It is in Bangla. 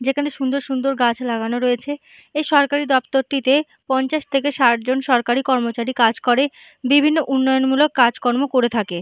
যেখানে সুন্দর সুন্দর গাছ লাগানো রয়েছে এই সরকারি দপ্তরটিতে পঞ্চাশ থেকে ষাট জন সরকারি কর্মচারী কাজ করে বিভিন্ন উন্নয়নমূলক কাজকর্ম করে থাকে।